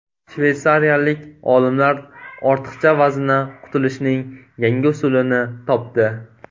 Shveysariyalik olimlar ortiqcha vazndan qutulishning yangi usulini topdi.